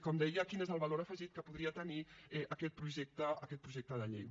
com deia quin és el valor afegit que podria tenir aquest projecte de llei